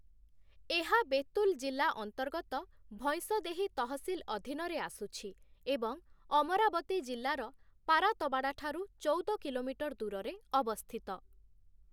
ଏହା ବେତୁଲ ଜିଲ୍ଲା ଅନ୍ତର୍ଗତ ଭୈଁସଦେହି ତହସିଲ ଅଧିନରେ ଆସୁଛି ଏବଂ ଅମରାବତୀ ଜିଲ୍ଲାର ପାରାତବାଡ଼ା ଠାରୁ ଚଉଦ କିଲୋମିଟର ଦୂରରେ ଅବସ୍ଥିତ ।